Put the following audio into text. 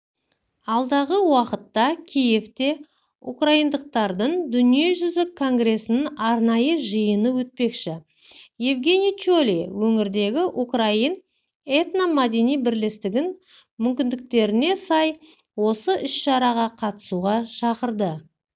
алдағы уақытта киевте украиндықтардың дүниежүзілік конгресінің арнайы жиыны өтпекші евгений чолый өңірдегі украин этно-мәдени бірлестігін мүмкіндіктеріне сай осы іс-шараға қатысуға шақырды